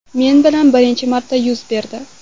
Men bilan birinchi marta yuz berdi.